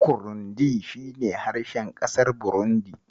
Kurindi shi ne harshen ƙasar Burundi.